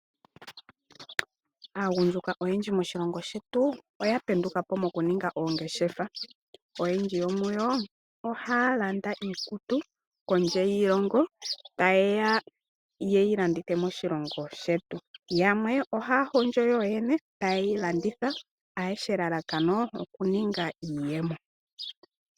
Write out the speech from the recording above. Aagundjuka oyendji moshilongo shettu, oya penduka po moku ninga oongeshefa. Oyendji yomuyo ohaya landa iikutu kondje yiilongo, ta yeya yeyi landithe moshilongo shetu. Yamwe ohaya hondjo yoyene eta yeyi landitha, ayehe elalakano, okuninga iiyemo.